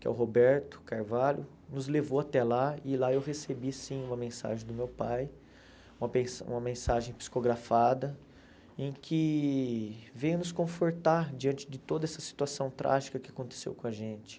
que é o Roberto Carvalho, nos levou até lá e lá eu recebi sim uma mensagem do meu pai, uma mens uma mensagem psicografada, em que veio nos confortar diante de toda essa situação trágica que aconteceu com a gente.